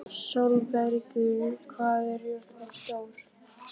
Sólbergur, hvað er jörðin stór?